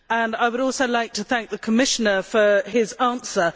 I would also like to thank the Commissioner for his answer.